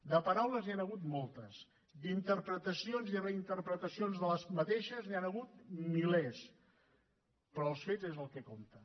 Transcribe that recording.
de paraules n’hi han hagut moltes d’interpretacions i reinterpretacions d’aquestes n’hi han hagut milers però els fets són els que compten